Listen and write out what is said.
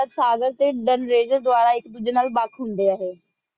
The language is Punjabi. ਸਾਗਰ ਟੀ ਦੰਰੇਜ ਦੇ ਦਵਾਲਾ ਆਇਕ ਡੋਜੀ ਨਾਲ ਵਖ ਹੁੰਦੀ ਆ ਏਹੀ